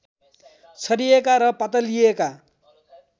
छरिएका र पातलिएका